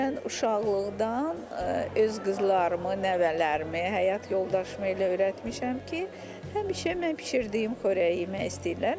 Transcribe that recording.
Mən uşaqlıqdan öz qızlarımı, nəvələrimi, həyat yoldaşımı elə öyrətmişəm ki, həmişə mənim bişirdiyim xörəyi yemək istəyirlər.